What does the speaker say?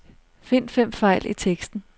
Find fem fejl i teksten.